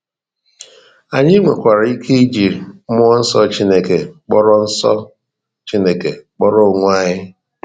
Anyị nwekwara ike iji mmụọ nsọ Chineke kpọrọ nsọ Chineke kpọrọ onwe anyị